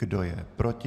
Kdo je proti?